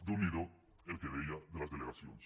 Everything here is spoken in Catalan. déu n’hi do el que deia de les delegacions